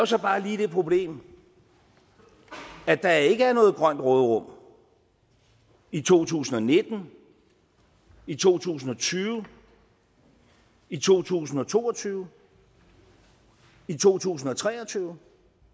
så bare lige det problem at der ikke er noget grønt råderum i to tusind og nitten i to tusind og tyve i to tusind og to og tyve i to tusind og tre og tyve